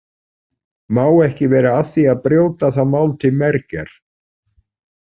Má ekki vera að því að brjóta það mál til mergjar.